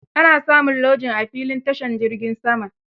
Ana samin lojin a filin tashin jiragen sama.